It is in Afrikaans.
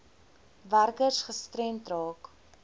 werkers gestremd raak